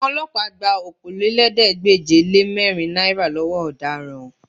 Àwọn Ọlọ́pàá gba Okòólélẹ́ẹ̀ẹ́dégbèje-le-mẹ́rin náírà lọ́wọ́ ọ̀daràn